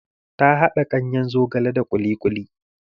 Ta haɗa ganyen zogale da ƙuli ƙuli.